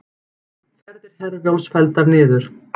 Ferðir Herjólfs felldar niður